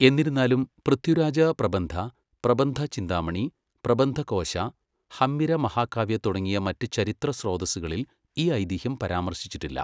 എന്നിരുന്നാലും പൃഥ്വിരാജ പ്രബന്ധ, പ്രബന്ധ ചിന്താമണി, പ്രബന്ധ കോശ, ഹമ്മിര മഹാകാവ്യ തുടങ്ങിയ മറ്റ് ചരിത്ര സ്രോതസ്സുകളിൽ ഈ ഐതിഹ്യം പരാമർശിച്ചിട്ടില്ല.